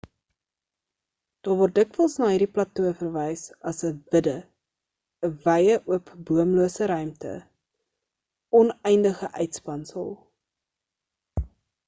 daar word dikwels na hierdie plato verwys as 'n vidde 'n wye oop boomlose ruimte 'n oneindige uitspansel